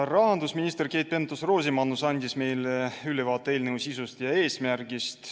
Rahandusminister Keit Pentus-Rosimannus andis meile ülevaate eelnõu sisust ja eesmärgist.